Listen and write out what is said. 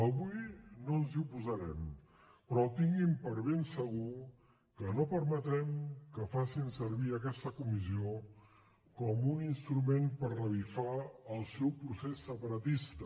avui no ens hi oposarem però tinguin per ben segur que no permetrem que facin servir aquesta comissió com un instrument per revifar el seu procés separatista